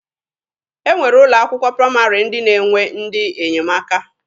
E nwere ụlọ akwụkwọ praịmarị ndị na-enwe ndị enyemaka.